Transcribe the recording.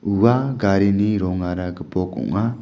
ua garini rongara gipok ong·a.